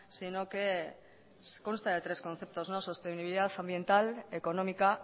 sino que consta de tres conceptos sostenibilidad ambiental económica